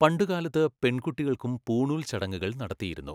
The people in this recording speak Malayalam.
പണ്ടുകാലത്ത് പെൺകുട്ടികൾക്കും പൂണൂൽച്ചടങ്ങുകൾ നടത്തിയിരുന്നു.